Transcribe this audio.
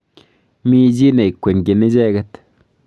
Mi chi nekwengyin icheket.